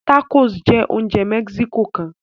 Tacos jẹ oúnjẹ Mexico kán